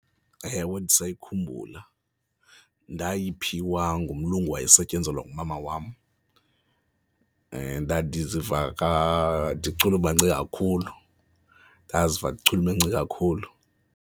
Ewe, ndisayikhumbula. Ndayiphiwa ngumlungu owayesetyenzelwa ngumama wam ndandiziva ndichulumance kakhulu, ndaziva ndichulumence kakhulu.